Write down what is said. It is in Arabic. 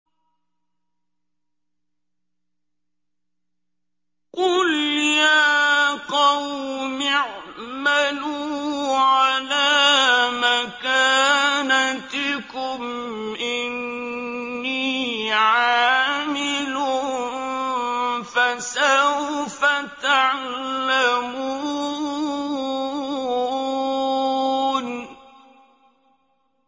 قُلْ يَا قَوْمِ اعْمَلُوا عَلَىٰ مَكَانَتِكُمْ إِنِّي عَامِلٌ ۖ فَسَوْفَ تَعْلَمُونَ